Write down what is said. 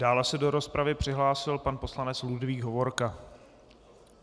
Dále se do rozpravy přihlásil pan poslanec Ludvík Hovorka.